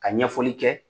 Ka ɲɛfɔli kɛ